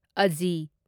ꯑꯖꯤ